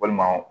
Walima